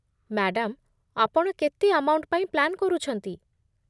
Madam, ଆପଣ କେତେ amount ପାଇଁ ପ୍ଲାନ୍ କରୁଛନ୍ତି?